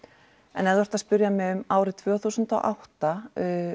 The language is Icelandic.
en ef þú ert að spyrja mig um árið tvö þúsund og átta